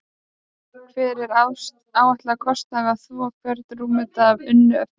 Hver er áætlaður kostnaður við að þvo hvern rúmmetra af unnu efni?